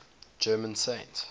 german saints